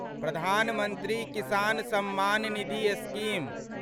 प्रधान मंत्री किसान सम्मान निधि स्कीम